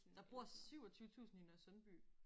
Der bor 27000 i Nørresundby